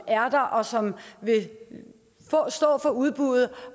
er der og som vil stå for udbuddet